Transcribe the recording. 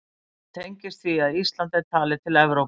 Þetta tengist því að Ísland er talið til Evrópu.